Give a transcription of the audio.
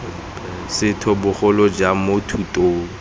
setho bogolo jang mo thutong